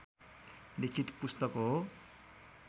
लिखित पुस्तक हो